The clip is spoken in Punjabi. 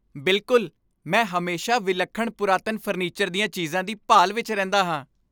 ਬਿਲਕੁਲ! ਮੈਂ ਹਮੇਸ਼ਾ ਵਿਲੱਖਣ ਪੁਰਾਤਨ ਫਰਨੀਚਰ ਦੀਆਂ ਚੀਜ਼ਾਂ ਦੀ ਭਾਲ ਵਿੱਚ ਰਹਿੰਦਾ ਹਾਂ।